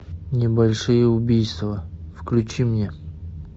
небольшие убийства включи мне